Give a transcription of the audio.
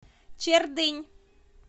чердынь